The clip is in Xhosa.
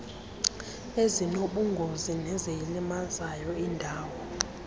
ezinobungozi neziyilimazayo indalo